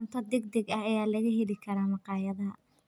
Cunto degdeg ah ayaa laga heli karaa makhaayadaha.